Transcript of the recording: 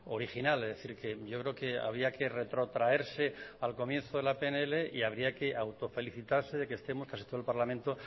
original es decir que yo creo que había que retrotraerse al comienzo de la pnl y habría que autofelicitarse de que estemos casi todo el parlamento